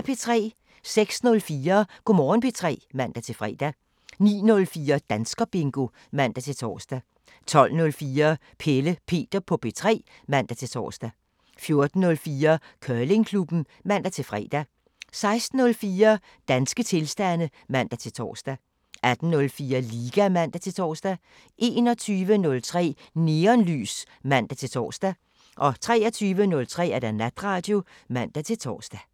06:04: Go' Morgen P3 (man-fre) 09:04: Danskerbingo (man-tor) 12:04: Pelle Peter på P3 (man-tor) 14:04: Curlingklubben (man-fre) 16:04: Danske tilstande (man-tor) 18:04: Liga (man-tor) 21:03: Neonlys (man-tor) 23:03: Natradio (man-tor)